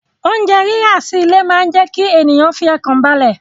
Oúnjẹ rírà sí ilé máa jẹ kí ènìyàn fi ọkàn balẹ̀